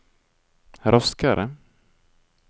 raskere